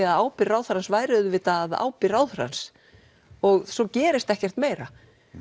að ábyrgð ráðherrans væri auðvitað á ábyrgð ráðherrans svo gerist ekkert meira